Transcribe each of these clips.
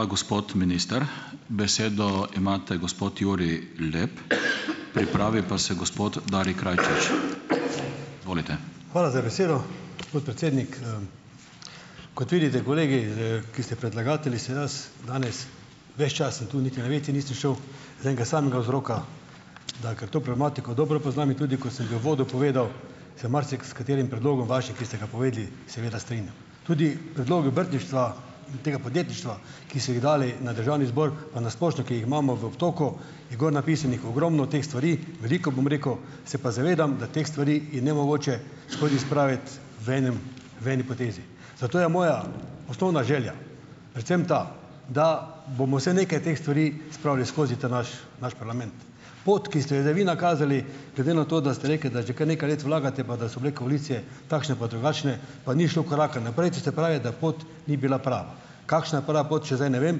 Hvala za besedo, podpredsednik, Kot vidite kolegi, ki ste predlagatelji, sem jaz danes ves čas sem tu, niti na wc nisem šel, iz enega samega vzroka, da ker to problematiko dobro poznam in tudi, ko sem v uvodu povedal, se marsikaterim predlogom vašim, ki ste ga povedali, seveda strinjam. Tudi predlog obrtništva in tega podjetništva, ki ste jih dali na državni zbor pa na splošno, ki jih imamo v obtoku, je gor napisanih ogromno teh stvari. Veliko, bom rekel, se pa zavedam, da teh stvari je nemogoče skozi spraviti v enem, v eni potezi. Zato je moja osnovna želja predvsem ta, da bomo vsaj nekaj teh stvari spravili skozi ta naš naš parlament. Pot, ki ste jo zdaj vi nakazali, glede na to, da ste rekli, da že kar nekaj let vlagate pa da so bile koalicije takšne pa drugačne pa ni šlo koraka naprej, to se pravi, da pot ni bila prava. Kakšna je prava pot, še zdaj ne vem,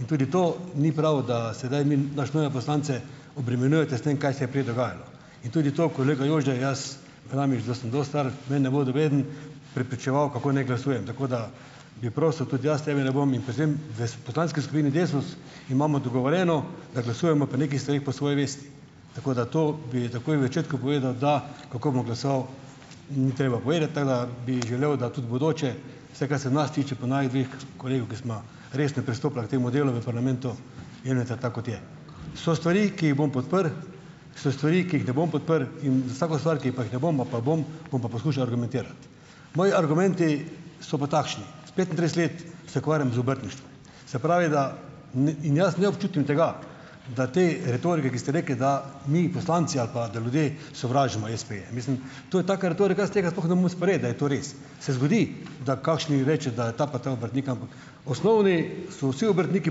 in tudi to ni prav, da sedaj naše nove poslance obremenjujete s tem, kaj se je prej dogajalo. In tudi to, kolega Jože, jaz, praviš, da sem dosti star, me ne bo nobeden prepričeval, kako naj glasujem. Tako, da bi prosil, tudi jaz tebe ne bom in pri tem, v poslanski skupini Desus imamo dogovorjeno, da glasujemo pri nekih stvareh po svoji vesti. Tako, da to bi takoj v začetku povedal, da kako bom glasoval ni treba povedati, tako da bi želel, da tudi v bodoče, vse, kar se nas tiče pa naju dveh kolegov, ki sva resno pristopila k tem delu v parlamentu, jemljete, tako kot je. So stvari, ki jih bom podprl, so stvari, ki jih ne bom podprl, in vsako stvar, ki pa jih ne bom, ali pa bom, bom pa poskušal argumentirati. Moji argumenti so pa takšni. Petintrideset let se ukvarjam z obrtništvom, se pravi, da, in in jaz ne občutim tega, da te retoriki, ki ste rekli, da mi poslanci, ali pa, da ljudi sovražimo espeje. Mislim, to je taka retorika, jaz tega sploh ne morem sprejeti, da je to res. Se zgodi, da kakšni reče, da je ta pa ta obrtnik, ampak osnovni so vsi obrtniki,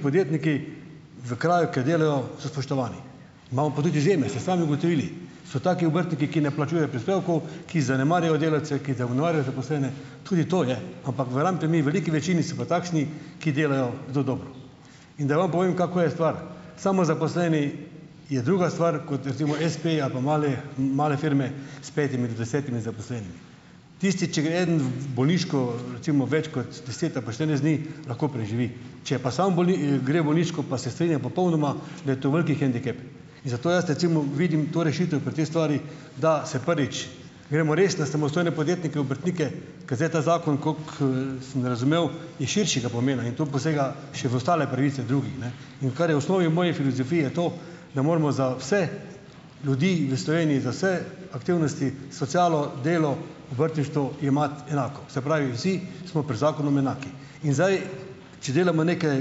podjetniki v kraju, kjer delajo, so spoštovani. Imamo pa tudi izjeme, ste sami ugotovili. So taki obrtniki, ki ne plačujejo prispevkov, ki zanemarjajo delavce, ki zanemarjajo zaposlene. Tudi to je, ampak verjamete mi, veliki večini so pa takšni, ki delajo zelo dobro. In da vem povem, kako je stvar. Samozaposleni je druga stvar, kot recimo espeji, ali pa male, male firme s petimi do desetimi zaposlenimi. Tisti, če gre eden v bolniško, recimo več kot deset ali pa štirinajst dni, lahko preživi, če pa samo gre v bolniško pa se strinjam popolnoma, da je to veliki "hendikep", in zato jaz recimo vidim to rešitev pri tej stvari, da se prvič gremo resne samostojne podjetnike, obrtnike, ker zdaj ta zakon, koliko, sem razumel, je širšega pomena in to posega še v ostale pravice drugih, ne. In kar je v osnovi v moji filozofiji je to, da moramo za vse ljudi v Sloveniji, za vse aktivnosti, socialo, delo, obrtništvo, jemati enako. Se pravi, vsi smo pred zakonom enaki. In zdaj, če delamo neke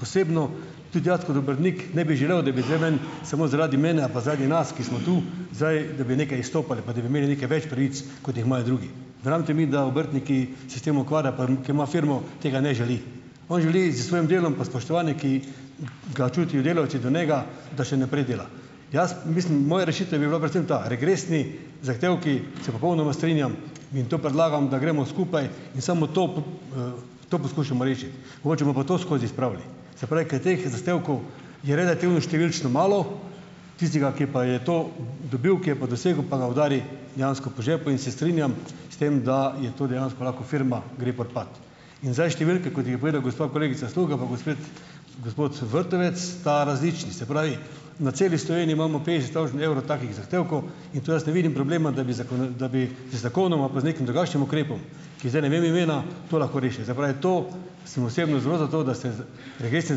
posebno, tudi jaz kot obrtnik ne bi želel, da bi bile meni samo zaradi mene, ali pa zaradi nas, ki smo tu zdaj, da bi nekaj izstopali, pa da bi imeli nekaj več pravic, kot jih imajo drugi. Verjamete mi, da obrtnik, ki se s tem ukvarja pa ki ima firmo, tega ne želi. On želi s svojim delom pa s spoštovanjem, ki ga čutijo delavci do njega, da še naprej dela. Jaz mislim, moja rešitev bi bila predvsem ta; regresni zahtevki, se popolnoma strinjam in to predlagam, da gremo skupaj in samo to to poskušamo rešiti. Mogoče bomo pa to skozi spravili. Se pravi, ker je teh zahtevkov je relativno številčno malo, tistega, ki pa je to dobil, ki je pa dosegel, pa ga udari dejansko po žepu in se strinjam s tem, da je to, dejansko lahko firma gre v propad. In zdaj številke, kot jih je povedala gospa kolegica Sluga pa gospod Vrtovec, sta različni. Se pravi, na celi Sloveniji imamo petdeset tavžent evrov takih zahtevkov in tu jaz ne vidim problema, da bi da bi z zakonoma, pa z nekim drugačnim ukrepom, ki zdaj ne vem imena, to lahko rešili. Se pravi, to, sem osebno zelo za to, da se regresni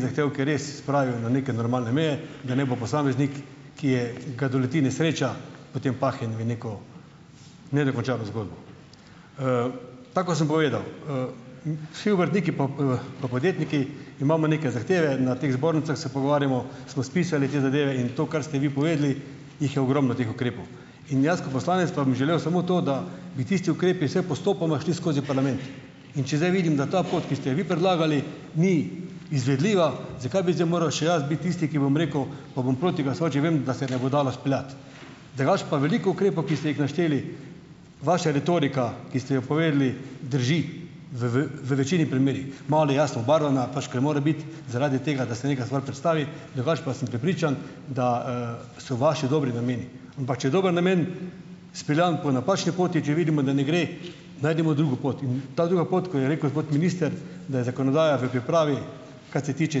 zahtevki res spravijo na neke normalne meje, da ne bo posameznik, ki je, ga doleti nesreča, potem pahnjen v neko nedokončano zgodbo. Tako kot sem povedal, vsi obrtniki pa, pa podjetniki imamo neke zahteve. Na teh zbornicah se pogovarjamo, smo spisali te zadeve in to, kar ste vi povedali, jih je ogromno teh ukrepov in jaz, ko poslanec pa bi želel samo to, da bi tisti ukrepi vsaj postopoma šli skozi parlament. In če zdaj vidim, da ta pot, ki ste jo vi predlagali, ni izvedljiva, zakaj bi zdaj moral še jaz biti tisti, ki, bom rekel, pa bom proti glasoval, če vem, da se ne bo dalo speljati. Drugače pa veliko ukrepov, ki ste jih našteli, vaša retorika, ki ste jo povedali, drži v v večini primerih. Malo je jasno obarvana, pač ker more biti, zaradi tega, da se neka stvar predstavi, drugače pa sem prepričan, da, so vaši dobri nameni. Ampak če je dober namen izpeljan po napačni poti, če vidimo, da ne gre, najdimo drugo pot. In ta druga pot, ko je rekel gospod minister, da je zakonodaja v pripravi, kar se tiče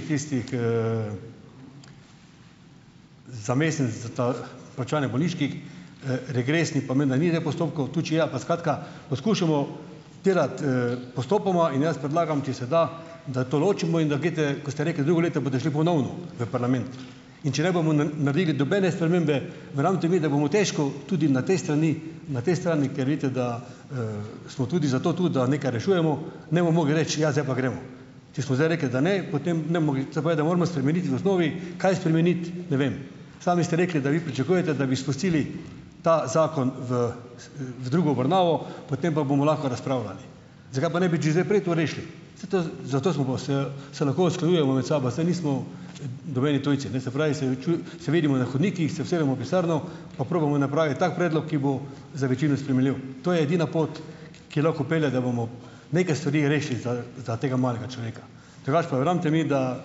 tistih, za mesec za ta plačevanje bolniških, regresnih pa menda ni teh postopkov, tudi če je, pa skratka, poskušamo odpirati, postopoma in jaz predlagam, če se da, da to ločimo in da greste, ko ste rekli, drugo leto boste šli ponovno, v parlament, in če ne bomo naredili nobene spremembe, verjamete mi, da bomo težko tudi na tej strani, na tej strani, ker vidite, da, smo tudi zato tu, da nekaj rešujemo, ne bomo mogli reči: "Ja, zdaj pa gremo." Če smo zdaj rekli, da ne, potem se pravi, da moramo spremeniti v osnovi kaj spremeniti. Ne vem. Sami ste rekli, da vi pričakujete, da bi spustili ta zakon v v drugo obravnavo, potem pa bomo lahko razpravljali. Zakaj pa ne bi že zdaj prej to rešili? Saj to, zato smo pa se, se lahko usklajujemo med sabo, saj nismo nobeni tujci, ne. Se pravi, se se vidimo na hodnikih, se usedemo v pisarno, pa probamo napraviti tak predlog, ki bo za večino sprejemljiv. To je edina pot, ki lahko pelje, da bomo neke stvari rešili za za tega malega človeka. Drugače pa, verjamete mi, da,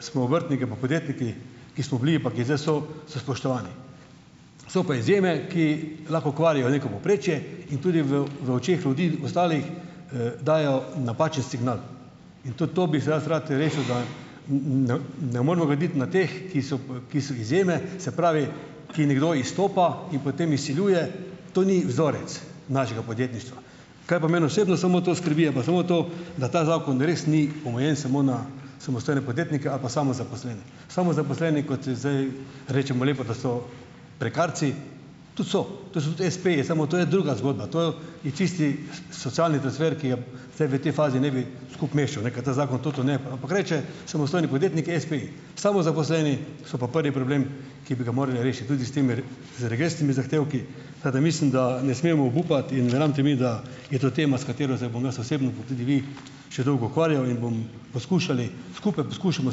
smo obrtniki pa podjetniki, ki smo bili pa ki zdaj so, so spoštovani. So pa izjeme, ki lahko kvarijo neko povprečje in tudi v v očeh ljudi, ostalih, dajejo napačen signal in tudi to bi zdaj jaz rad rešil, da, ne ne moremo graditi na teh, ki so ki so izjeme, se pravi, ki nekdo izstopa in potem izsiljuje. To ni vzorec našega podjetništva. Kar pa mene osebno samo to skrbi, je pa samo to, da ta zakon res ni omejen samo na samostojne podjetnike ali pa samozaposlene. Samozaposleni, kot zdaj rečemo lepo, da so prekarci, tudi so, to so tudi espeji, samo to je druga zgodba. To je čisti socialni transfer, ki ga zdaj v tej fazi ne bi skupaj mešal, ne, ker ta zakon tudi ampak reče, samostojni podjetnik, espe, samozaposleni so pa prvi problem, ki bi ga morali rešiti. Tudi s temi z regresnimi zahtevki, pa da, mislim, da ne smemo obupati, in verjamete mi, da je to tema, s katero se bom jaz osebno pa tudi vi, še dolgo ukvarjal in bom poskušal, skupaj poskušamo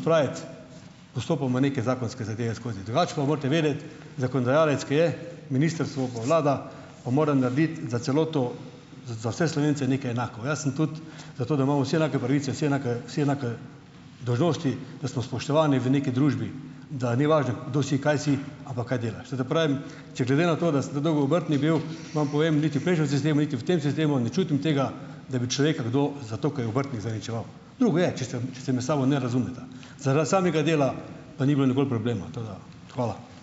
spraviti postopoma neke zakonske zadeve skozi. Drugače pa morate vedeti, zakonodajalec, ki je ministrstvo pa vlada, pa mora narediti za celoto, za vse Slovence neke enako. Jaz sem tudi za to, da imamo vsi enake pravice, vsi enake vsi enake dolžnosti, da smo spoštovani v neki družbi, da ni važno kdo si, kaj si, ampak kaj delaš. Zato pravim, če glede na to, da sem tako dolgo v obrtni bil, vam povem, niti v prejšnjem sistemu niti v tem sistemu ne čutim tega, da bi človeka kdo, zato ker je v obrtni, zaničeval. Drugo je, če se, če se med sabo ne razumeta. Zaradi samega dela pa ni bilo nikoli problema, tako da, hvala.